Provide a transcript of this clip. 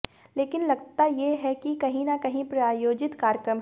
लेकिन लगता ये है की कहीं न कहीं प्रायोजित कार्यक्रम है